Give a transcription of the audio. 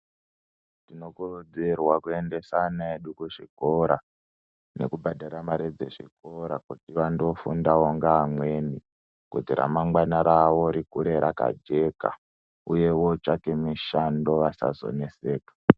Tinokurudzirwa kwendesa ana edu kuzvikora nekubhadhara mare dzezvikora kuti vandofundawo neamweni kuti ramangwana rawo rikure rakajeka uye vootsvake mishando vasazonetseka.